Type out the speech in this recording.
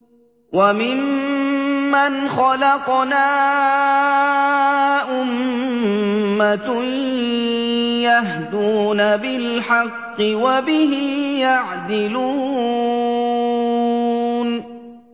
وَمِمَّنْ خَلَقْنَا أُمَّةٌ يَهْدُونَ بِالْحَقِّ وَبِهِ يَعْدِلُونَ